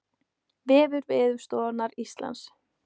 Vefur Veðurstofu Íslands